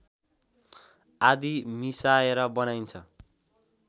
आदि मिसाएर बनाइन्छ